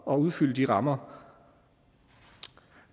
at udfylde de rammer